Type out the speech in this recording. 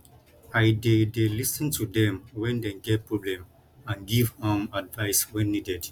i dey dey lis ten to dem wen dem get problems and give um advice when needed